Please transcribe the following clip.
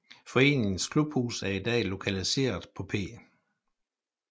Foreningens klubhus er i dag lokaliseret på P